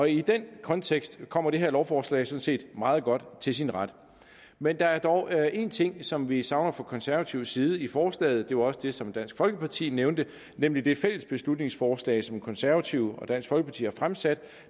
i den kontekst kommer det her lovforslag sådan set meget godt til sin ret men der er dog én ting som vi savner fra konservativ side i forslaget det var også det som dansk folkeparti nævnte nemlig det fælles beslutningsforslag som konservative og dansk folkeparti har fremsat